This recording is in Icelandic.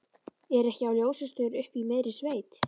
Ekki á ljósastaur uppi í miðri sveit.